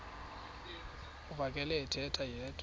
uvakele ethetha yedwa